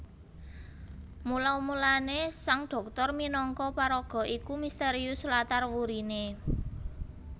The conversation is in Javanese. Mula mulané Sang Dhoktor minangka paraga iku mistérius latar wuriné